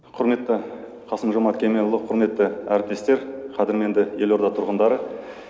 құрметті қасым жомарт кемелұлы құрметті әріптестер қадірменді елорда тұрғындары